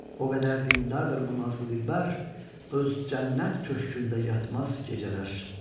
O qədər dindardır bu nazlı dilbər, öz cənnət köşkündə yatmaz gecələr.